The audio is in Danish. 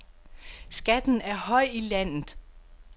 Skatten er høj i landet.